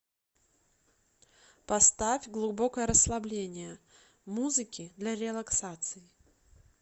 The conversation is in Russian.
поставь глубокое расслабление музыки для релаксации